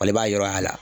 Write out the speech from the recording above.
Ale b'a yɔrɔ y'a la